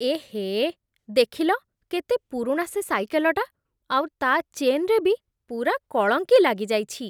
ଏହେ, ଦେଖିଲ କେତେ ପୁରୁଣା ସେ ସାଇକେଲଟା, ଆଉ ତା' ଚେନ୍‌ରେ ବି ପୂରା କଳଙ୍କି ଲାଗିଯାଇଛି ।